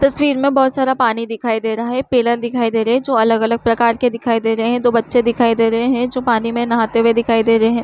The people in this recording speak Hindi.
तस्वीर में बहोत सारा पानी दिखाई दे रहा है पिलर दिखाई दे रहे है जो अलग अलग प्रकार दिखाई दे रहे है दो बच्चे दिखाई दे रहे है जो पानी में नहाते हुए दिखाई दे रहे है।